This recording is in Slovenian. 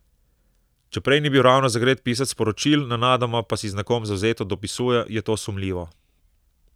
Če prej ni bil ravno zagret pisec sporočil, nenadoma pa si z nekom zavzeto dopisuje, je to sumljivo.